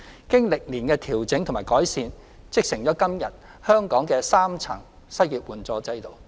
經過歷年的調整及改善，織成今天香港的3層失業援助制度。